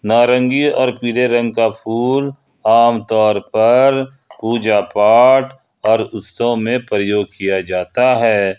नारंगी और पीले रंग का फूल आमतौर पर पूजा पाठ और उत्सव में प्रयोग किया जाता है।